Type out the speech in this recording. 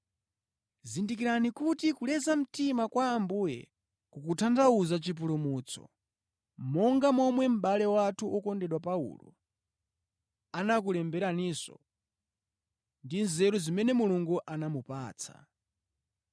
Zindikirani kuti kuleza mtima kwa Ambuye kukutanthauza chipulumutso, monga momwe mʼbale wathu wokondedwa Paulo anakulemberaninso ndi nzeru zimene Mulungu anamupatsa.